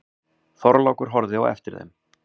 Þorlákur horfði á eftir þeim.